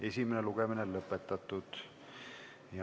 Esimene lugemine on lõpetatud.